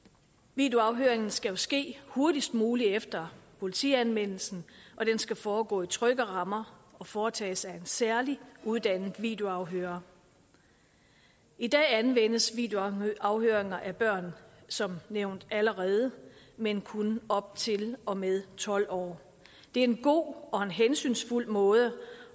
videoafhøringen skal jo ske hurtigst muligt efter politianmeldelsen og den skal foregå i trygge rammer og foretages af en særligt uddannet videoafhører i dag anvendes videoafhøringer af børn som nævnt allerede men kun op til og med tolv år det er en god og en hensynsfuld måde